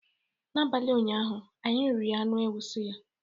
N'abalị ụnyaahụ anyị riri anụ ewu suya